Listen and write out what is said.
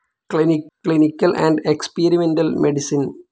clinical and experimental medicine